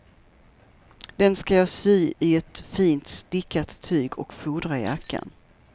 Den ska jag sy i ett fint stickat tyg och fodra jackan.